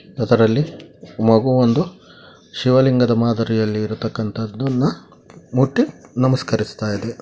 ಅದರಲ್ಲಿ ಮಗುವೊಂದು ಶಿವಲಿಂಗದ ಮಾದರಿಯಲ್ಲಿ ಇರ್ತಕಂತದನ್ನ ಮುಟ್ಟಿ ನಮಸ್ಕರಿಸುತ್ತಾ ಇದೆ .